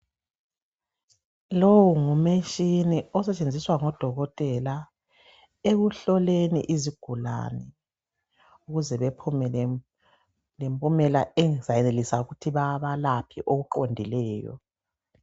Lowu ngumtshina osetshenziswa ngodokotela ekuhloleni izigulane ukuze bephume lempumela ezayenelisa ukuthi babalaphe okuqondileyo.